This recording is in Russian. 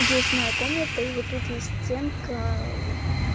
есть моя комната и вот тут есть стенка